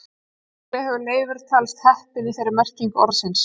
Líklega hefur Leifur talist heppinn í þeirri merkingu orðsins.